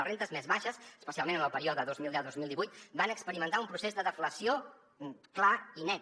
les rendes més baixes especialment en el període dos mil deu dos mil divuit van experimentar un procés de deflació clar i net